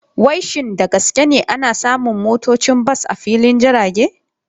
Wai shin da gaske ne ana samun motocin bas a filin jirage?